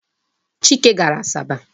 Chike gara Asaba.